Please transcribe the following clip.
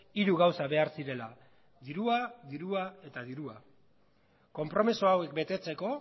hiru gauza behar zirela dirua dirua eta dirua konpromiso hauek betetzeko